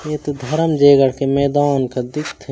ये तो धरमजयगढ़ के मैदान कस दिखथे--